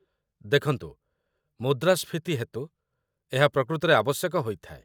ଦେଖନ୍ତୁ, ମୁଦ୍ରାସ୍ଫୀତି ହେତୁ ଏହା ପ୍ରକୃତରେ ଆବଶ୍ୟକ ହୋଇଥାଏ।